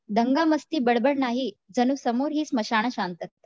दंगा मस्ती बडबड नाही जणु समोर ही स्मशान शांतता